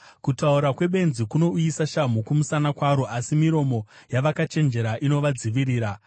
Kutaura kwebenzi kunouyisa shamhu kumusana kwaro, asi miromo yavakachenjera inovadzivirira.